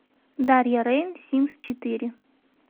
дарья рейн симс четыре